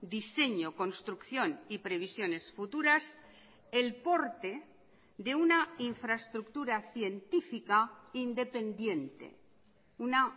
diseño construcción y previsiones futuras el porte de una infraestructura científica independiente una